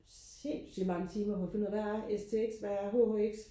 sindssygt mange timer på at finde ud af hvad er STX hvad er HHX